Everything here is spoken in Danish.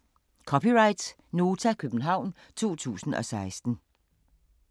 (c) Nota, København 2016